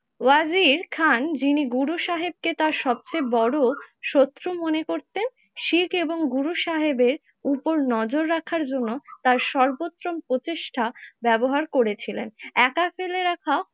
ওয়াজির খান যিনি গুরুসাহেবকে তার সবচেয়ে বড়ো শত্রু মনে করতেন শিখ এবং গুরুসাহেবের উপর নজর রাখার জন্য তার সৰ্বোত্তম প্রচেষ্টা ব্যবহার করেছিলেন। একা ফেলে রাখা